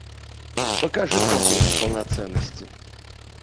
покажи комплекс полноценности